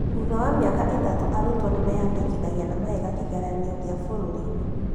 Thutha wa mĩaka itatũ arutwo nĩmeandĩkithagia na mageka kĩgeranio kĩa bũrũri-inĩ